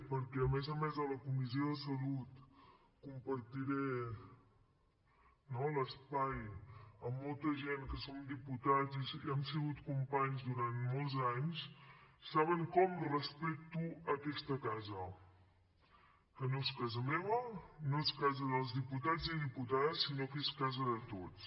perquè a més a més de la comissió de salut compartiré no l’espai amb molta gent que són diputats i hem sigut companys durant molts anys i saben com respecto aquesta casa que no és casa meva no és casa dels diputats i diputades sinó que és casa de tots